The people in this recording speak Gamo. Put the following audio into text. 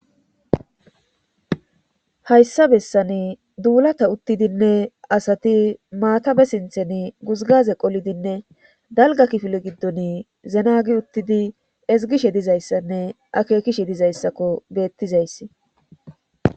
hayssa bessani duulata uttidinne asati maatabe sinthen guzgaze qolidinne dalga kifile giddon zenagi uttidi ezgishe dizayssanne akeekishe dizayssakko beettizayssi